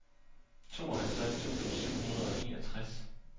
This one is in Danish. tooghalvtreds tusind syv hundrede og enogtres